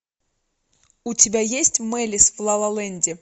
у тебя есть мэлис в лалаленде